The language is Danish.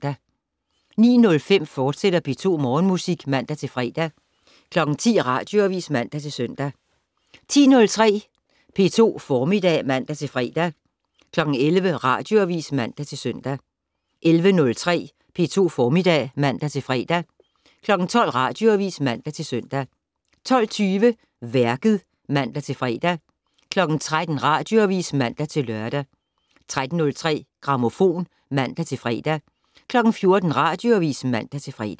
09:05: P2 Morgenmusik, fortsat (man-fre) 10:00: Radioavis (man-søn) 10:03: P2 Formiddag (man-fre) 11:00: Radioavis (man-søn) 11:03: P2 Formiddag (man-fre) 12:00: Radioavis (man-søn) 12:20: Værket (man-fre) 13:00: Radioavis (man-lør) 13:03: Grammofon (man-fre) 14:00: Radioavis (man-fre)